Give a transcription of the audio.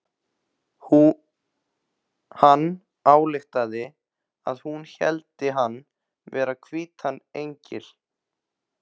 Hann ályktaði að hún héldi hann vera hvítan engil.